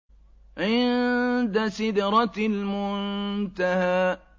عِندَ سِدْرَةِ الْمُنتَهَىٰ